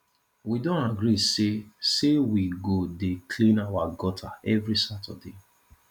we don agree say say we go dey clean our gutter every saturday